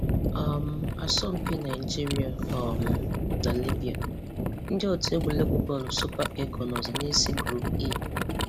um Asọmpi Nigeria um na Libya: Ndị otu egwuregwu bọọlụ Super Eagles nọzị n'ísí Group E